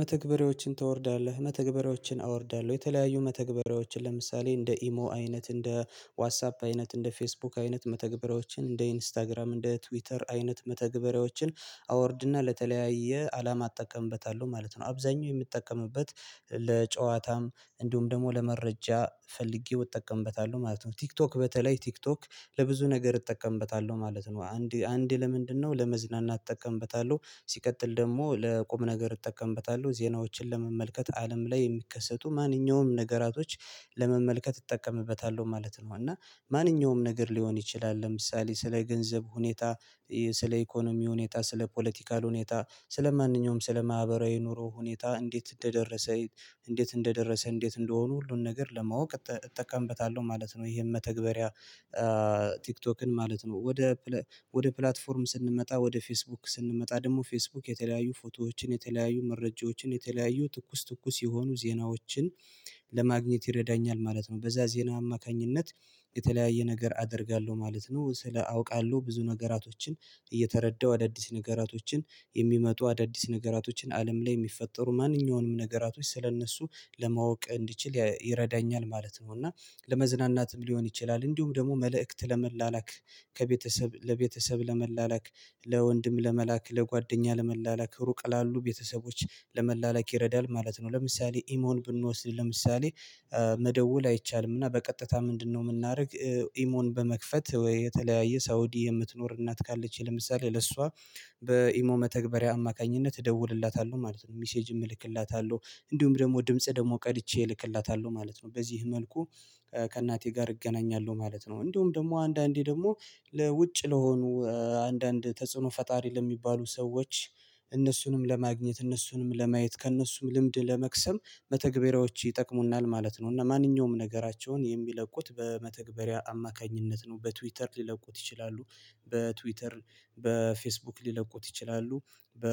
መተግበሪያዎችን ታወርዳለህ? መተግበሪያዎችን አወርዳለሁ የተለያዩ መተግበሪያዎችን ለምሳሌ እንደ ኢሞ አይነት፣ እንደ ዋትሳፕ አይነት፣ እንደ ፌስቡክ አይነት መተግበሪያዎችን እንደ ኢንስታግራም እንደ ትዊተር አይነት መተግበሪያዎችን አወርድና ለተለያየ አላማ አጠቀምበታለሁ ማለት ነው። አብዛኛው የምጠቀምበት ለጨዋታም እንዲሁም ደግሞ ለመረጃ ፈልጌው እጠቀምበታለሁ ማለት ነው ቲክቶክ በተለይ ቲክቶክ ለብዙ ነገር እጠቀምበታለሁ ማለት ነው አንዴ አንዴ ለምንድነው ለመዝናናት እጠቀምበታለሁ። ሲቀጥል ደግሞ ለቁም ነገር እጠቀምበታለሁ ዜናዎችን ለመመልከት አለም ላይ የሚከሰቱ ማንኛውም ነገራቶች ለመመልከት እጠቀምበታለሁ ማለት ነው እና ማንኛውም ነገር ሊሆን ይችላል ለምሳሌ ስለ ገንዘብ ሁኔታ ስለ ኢኮኖሚ ሁኔ፣ ስለ ፖለቲካል ሁኔታ፣ ስለ ማንኛውም ስለ ማህበራዊ ኑሮ ሁኔታ እንዴት እንደደረሰ እንዴት እንደደረሰ እንዴት እንደሆኑ ሁሉን ነገር ለማወቅ እጠቀምበታለሁ ማለት ነው ይሄን መተግበሪያ ቲክቶክን ማለት ነው ወደ ወደ ፕላትፎርም ስንመጣ ወደ ፌስቡክ ስንመጣ ደግሞ ፌስቡክ የተለያዩ ፎቶዎችን የተለያዩ መረጃዎችን የተለያዩ ትኩስ ትኩስ የሆኑ ዜናዎችን ለማግኘት ይረዳኛል ማለት ነው በዛ ዜና አማካኝነት የተለያየ ነገር አደርጋለሁ ማለት ነው ስለ አውቃለሁ ብዙ ነገራቶችን እየተረዳሁ አዳዲስ ነገራቶችን የሚመጡ አዳዲስ ነገራቶችን አለም ላይ ሚፈጠሩ ማንኛውንም ነገራቶች ስለእነሱ ለማወቅ እንድችል ይረዳኛል ማለት ነው እና ለመዝናናትም ሊሆን ይችላል እንዲሁም ደግሞ መልእክት ለመላላክ ከቤተሰብ ለቤተሰብ ለመላላክ ለወንድም ለመላክ ለጓደኛ ለመላላክ ሩቅ ላሉ ቤተሰቦች ለመላላክ ይረዳል ማለት ነው ለምሳሌ ኢሞን ብንወስድ ለምሳሌ መደወል አይቻልም እና በቀጥታ ምንድነው የምናደርግ ኢሞን በመክፈት ወይ የተለያየ ሳውዲ የምትኖር እናት ካለች ለምሳሌ ለሷ በኢሞ መተግበሪያ አማካኝነት እደውልላታለሁ ማለት ነው ሚሴጅ እልክላታለሁ እንዲሁም ደግሞ ድምጽ ደግሞ ቀድቼ እልክላታለሁ ማለት ነው በዚህ መልኩ ከእናቴ ጋር እገናኛለሁ ማለት ነው እንዲሁም ደግሞ አንዳንዴ ደግሞ ለውጭ ለሆኑ አንዳንድ ተጽዕኖ ፈጣሪ ለሚባሉ ሰዎች እነሱንም ለማግኘት እነሱንም ለማየት ከእነሱም ልምድ ለመቅሰም መተግበሪያዎች ይጠቅሙናል ማለት ነው እና ማንኛውም ነገራቸውን የሚለቁት በመተግበሪያ አማካኝነት ነው በትዊተር ሊለቁት ይችላሉ። በትዊተር በፌስቡክ ሊለቁት ይችላሉ በ